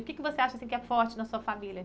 O que que você acha assim que é forte na sua família?